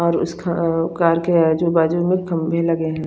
और उसका कार का हे जो बाजू में एक खम्बे लगे हुए है।